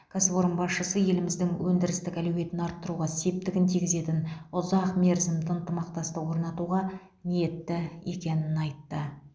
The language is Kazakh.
кәсіпорын басшысы еліміздің өндірістік әлеуетін арттыруға септігін тигізетін ұзақ мерзімді ынтымақтастық орнатуға ниетті екенін айтты